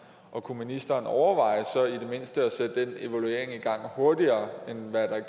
og kunne ministeren overveje i det mindste at sætte den evaluering i gang hurtigere end